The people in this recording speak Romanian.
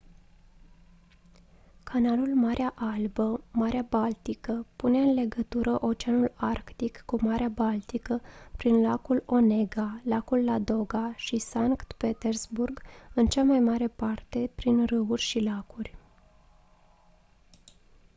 canalul marea albă marea baltică pune în legătură oceanul arctic cu marea baltică prin lacul onega lacul ladoga și sankt petersburg în cea mai mare parte prin râuri și lacuri